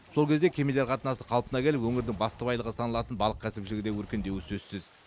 сол кезде кемелер қатынасы қалпына келіп өңірдің басты байлығы саналатын балық кәсіпшілігі де өркендеуі сөзсіз